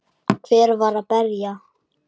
Hver var að berja?